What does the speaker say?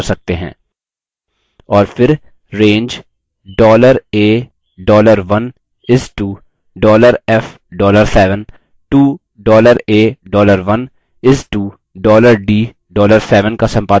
और फिर range $a $1 is to $f $7 to $a $1 is to $d $7 का सम्पादन करके कर सकते हैं